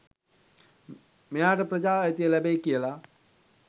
මෙයාට ප්‍රජා අයිතිය ලැබෙයි කියලා.